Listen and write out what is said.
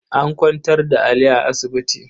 An kwantar da Ali a asibiti.